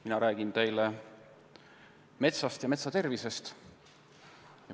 Mina räägin teile metsast ja metsa tervisest.